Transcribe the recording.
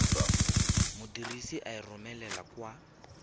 modirisi a e romelang kwa